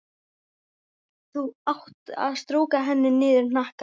Þá áttu að strjúka henni niður hnakkann.